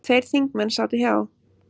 Tveir þingmenn sátu hjá.